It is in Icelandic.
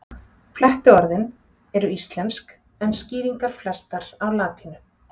Flettiorðin eru íslensk en skýringar flestar á latínu.